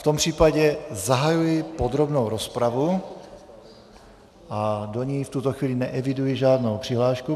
V tom případě zahajuji podrobnou rozpravu a do ní v tuto chvíli neeviduji žádnou přihlášku.